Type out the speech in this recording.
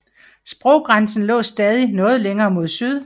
Sproggrænsen lå stadig noget længere mod syd